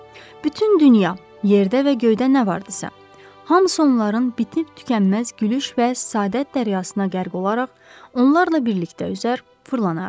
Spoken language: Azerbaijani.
Bütün dünya yerdə və göydə nə vardısa, hamısı onların bitib-tükənməz gülüş və səadət dəryasına qərq olaraq onlarla birlikdə üzər, fırlanardı.